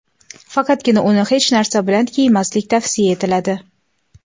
Faqatgina uni hech narsa bilan kiymaslik tavsiya etiladi.